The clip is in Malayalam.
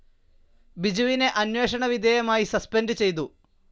ബിജുവിനെ അന്വേഷണ വിധേയമായി സസ്പെൻഡ്‌ ചെയ്തു.